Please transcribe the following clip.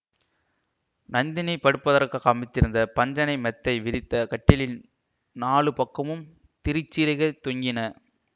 நந்தினி படுப்பதற்காக அமைந்திருந்த பஞ்சணை மெத்தை விரித்த கட்டிலில் நாலு பக்கமும் திரிச்சீலைகள் தொங்கின